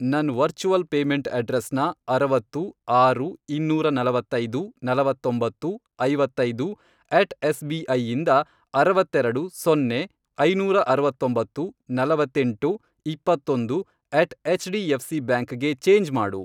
ನನ್ virtual payment ಅಡ್ರೆಸ್ನ, ಅರವತ್ತು, ಆರು, ಇನ್ನೂರ ನಲವತ್ತೈದು, ನಲವತ್ತೊಂಬತ್ತು, ಐವತ್ತೈದು, ಅಟ್ ಎಸ್ ಬಿ ಐ ಇಂದ, ಅರವತ್ತೆರೆಡು, ಸೊನ್ನೆ, ಐನೂರ ಅರವತ್ತೊಂಬತ್ತು, ನಲವತ್ತೆಂಟು, ಇಪ್ಪತ್ತೊಂದು, at H D F C bank ಗೆ ಚೇಂಜ್ ಮಾಡು.